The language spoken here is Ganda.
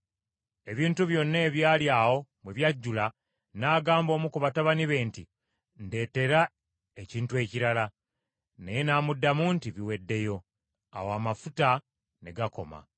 Ebintu byonna ebyali awo bwe byajjula, n’agamba omu ku batabani be nti, “Ndeetera ekintu ekirala.” Naye n’amuddamu nti, “Biweddeyo.” Awo amafuta ne gakoma.